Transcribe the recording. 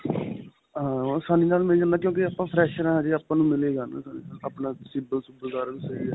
ਹਾਂ. ਆਸਾਨੀ ਨਾਲ ਮਿਲ ਜਾਂਦਾ ਹੈ ਕਿਉਂਕਿ ਆਪਾਂ fresher ਹਾਂ ਹਜੇ. ਆਪਾਂ ਨੂੰ ਮਿਲੇਗਾ ਆਪਣਾ CIBIL ਸੁਬ੍ਬਲ ਸਾਰਾ ਕੁਝ ਸਹੀ ਹੈ.